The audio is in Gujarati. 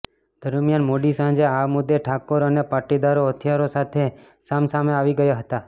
દરમિયાન મોડી સાંજે આ મુદ્દે ઠાકોર અને પાટીદારો હથિયારો સાથે સામ સામે આવી ગયા હતા